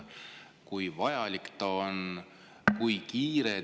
Kui vajalik see on?